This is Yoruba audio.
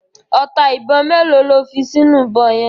Ọta ìbọn mélòó lo fi sínú ìbọn yẹn.